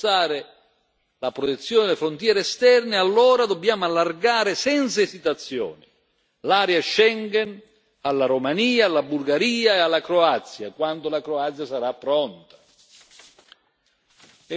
Bene, se vogliamo davvero rafforzare la protezione delle frontiere esterne, allora dobbiamo allargare senza esitazioni l'area Schengen alla Romania, alla Bulgaria e alla Croazia, quando la Croazia sarà pronta.